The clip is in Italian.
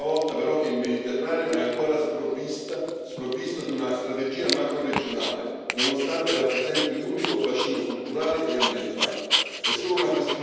Evidenzio ancora una volta, però, che il Mediterraneo è ancora sprovvisto di una strategia macroregionale nonostante rappresenti un unico bacino culturale e ambientale.